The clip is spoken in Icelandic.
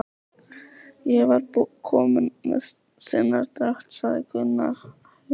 Ég var bara kominn með sinadrátt, sagði Gunni aumur.